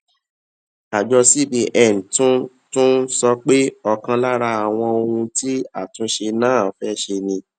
àjọ cbn tún tún sọ pé ọkan lára àwọn ohun tí àtúnṣe náà fé ṣe ni